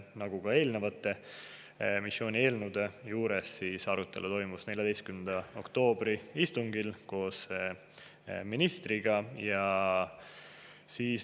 Nagu ka eelnenud missioonieelnõude puhul, toimus arutelu selle üle 14. oktoobri istungil koos ministriga.